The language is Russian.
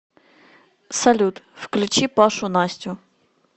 салют включи пашу настю